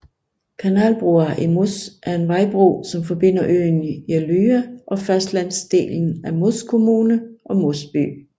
Kanalbrua i Moss er en vejbro som forbinder øen Jeløya og fastlandsdelen af Moss kommune og Moss by